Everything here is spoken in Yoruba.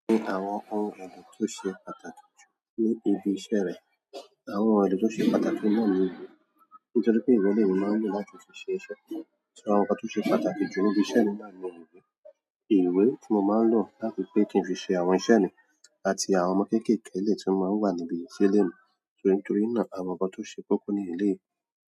Àwọn ohun èlò tó ṣe pàtàkì jù ní ibi iṣẹ́ rẹ̀, àwọn ohun èlò tó ṣe pàtàkì náà ni ìwé. Nítorí pé ìwé lè ní máa ń lo láti fi ṣe iṣẹ́. Ṣo, àwọn nkan tó ṣe pàtàkì jù níbi iṣẹ́ ni náà ni ìwé. Ìwé tí mo máa ń lò láti pé kí n fi ṣe àwọn iṣẹ́ mi àti àwọn ọmọ kékèèké eleyii tí wọ́n máa ń wà níbi ṣelé mi. Ntorí torí náà, àwọn nkan tó ṣe koko ní eléyìí.